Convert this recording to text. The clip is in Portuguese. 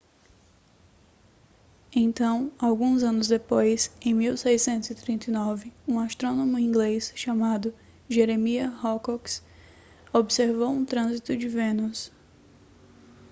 então alguns anos depois em 1639 um astrônomo inglês chamado jeremiah horrocks observou um trânsito de vênus